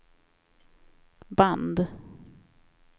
band